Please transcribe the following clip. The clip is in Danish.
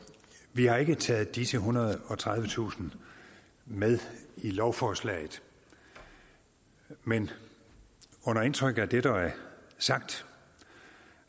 vi har ikke taget disse ethundrede og tredivetusind med i lovforslaget men under indtryk af det der er sagt